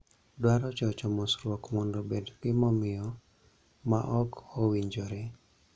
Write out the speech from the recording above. dwaro chocho mosruok mondo obed gimomiyo ma ok owinjore